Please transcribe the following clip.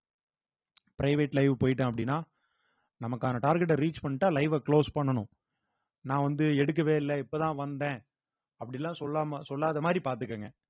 private live போயிட்டான் அப்படின்னா நமக்கான target அ reach பண்ணிட்டா live அ close பண்ணணும் நான் வந்து எடுக்கவே இல்ல இப்பதான் வந்தேன் அப்படி எல்லாம் சொல்லாம சொல்லாத மாதிரி பார்த்துக்கங்க